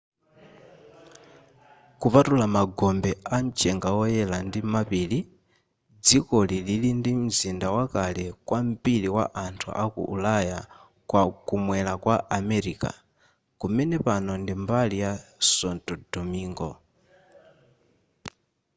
kupatula magombe a mchenga oyela ndi mapiri dzikoli lili ndi mzinda wakale kwambiri wa anthu a ku ulaya kumwela kwa america kumene pano ndi mbali ya santo domingo